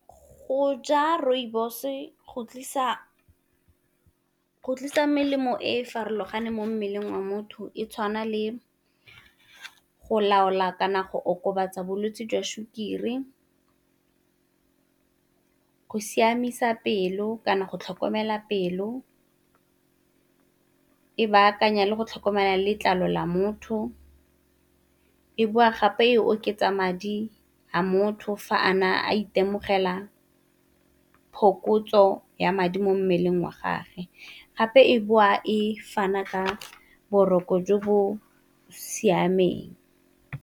Go ja rooibos-e go tlisa melemo e e farologaneng mo mmeleng wa motho e tshwana le go laola kana go okobatsa bolwetsi jwa sukiri, go siamisa pelo kana go tlhokomela pelo, e bakanya le go tlhokomela letlalo la motho, e boa gape e oketsa madi a motho fa a na a itemogela phokotso ya madi mo mmeleng wa gage, gape e boa e fana ka boroko jo bo siameng.